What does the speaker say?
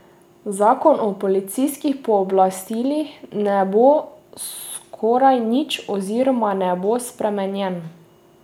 Zakon o policijskih pooblastilih ne bo skoraj nič oziroma ne bo spremenjen.